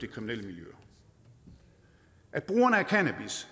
kriminelle miljøer at brugerne af cannabis